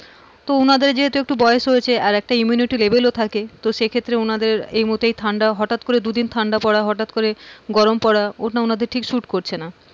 তো উনাদের যেহেতু একটু বয়স হয়েছে আর একটা immunity level ও থাকে তো সেক্ষেত্রে ওনাদের এই মুহূর্তে ঠান্ডা হঠাৎ করে দুদিন ঠান্ডা পরা হঠাৎ করে গরম পরা ওটা অন্যদের একটু suit করছে না,